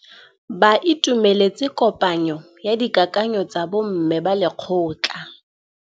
Ba itumeletse kôpanyo ya dikakanyô tsa bo mme ba lekgotla.